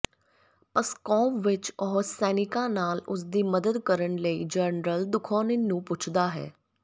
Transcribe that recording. Pskov ਵਿਚ ਉਹ ਸੈਨਿਕਾਂ ਨਾਲ ਉਸਦੀ ਮਦਦ ਕਰਨ ਲਈ ਜਨਰਲ ਦੁਖੋਨਿਨ ਨੂੰ ਪੁੱਛਦਾ ਹੈ